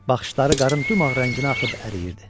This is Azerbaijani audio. Baxışları qarın dümağ rənginə axıb əriyirdi.